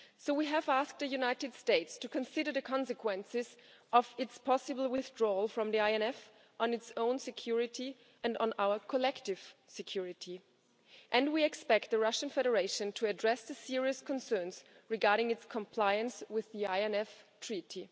We have asked the United States to consider the consequences of its possible withdrawal from the INF on its own security, and on our collective security and we expect the Russian Federation to address the serious concerns regarding its compliance with the INF Treaty.